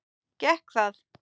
Gekk það?